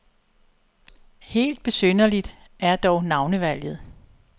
Helt besynderligt er dog navnevalget.